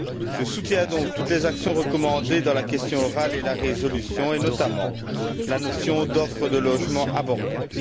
Je soutiens donc toutes les mesures recommandées dans la question orale ainsi que la résolution, et notamment la notion d'offre de logements abordables.